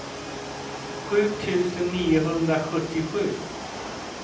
sju tusen niohundrasjuttiosju